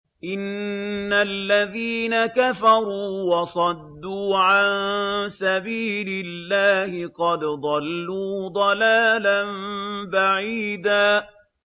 إِنَّ الَّذِينَ كَفَرُوا وَصَدُّوا عَن سَبِيلِ اللَّهِ قَدْ ضَلُّوا ضَلَالًا بَعِيدًا